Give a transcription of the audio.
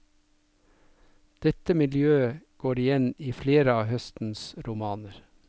Dette miljøet går igjen i flere av høstens romaner.